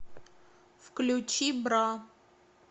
включи бра